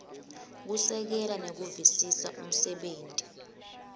kusekela nekuvisisa umsebenti